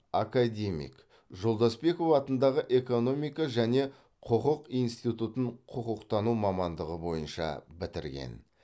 академик жолдасбеков атындағы экономика және құқық институтын құқықтану мамандығы бойынша бітірген